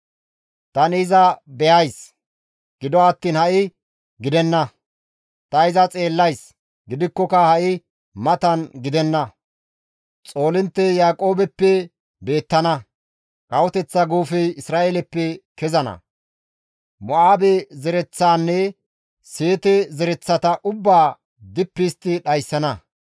Tani iza be7ays; gido attiin ha7i gidenna; ta iza xeellays; gidikkoka ha7i matan gidenna; Xoolinttey Yaaqoobeppe beettana; Kawoteththa guufey Isra7eeleppe kezana; Mo7aabe zereththaanne Seete zereththata ubbaa dippi histti dhayssana.